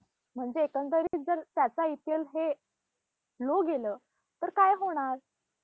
आम्ही भरती झाल्यापासून ninty eighty eight पासून